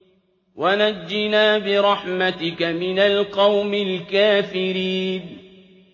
وَنَجِّنَا بِرَحْمَتِكَ مِنَ الْقَوْمِ الْكَافِرِينَ